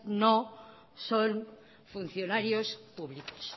no son funcionarios públicos